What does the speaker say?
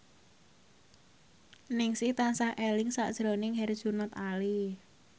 Ningsih tansah eling sakjroning Herjunot Ali